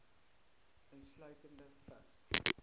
insluitende vigs